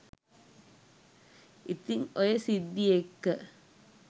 ඉතින් ඔය සිද්ධි එක්ක